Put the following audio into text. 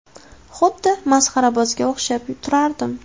Xuddi masxarabozga o‘xshab turardim.